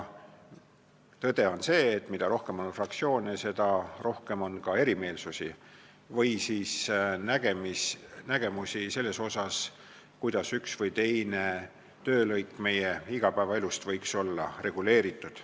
Tõde on see, et mida rohkem on fraktsioone, seda rohkem on ka erimeelsusi või nägemusi selle kohta, kuidas üks või teine töölõik võiks meie igapäevaelus olla reguleeritud.